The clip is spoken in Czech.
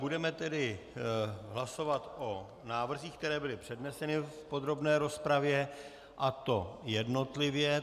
Budeme tedy hlasovat o návrzích, které byly předneseny v podrobné rozpravě, a to jednotlivě.